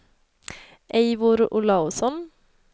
Eivor Olausson